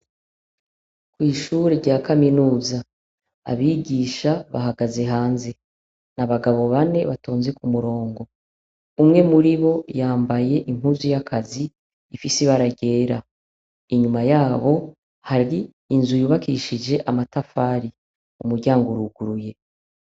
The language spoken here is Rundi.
Kw'ishure rya kaminuza, abigisha bahagaze hanze; ni abagabo bane batonze ku murongo; umwe muri bo yambaye impuzu y'akazi ifise ibara ryera; inyuma yabo hari inzu yubakishije amatafari; umuryango uruguruye.